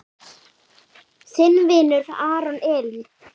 Þinn vinur, Aron Elí.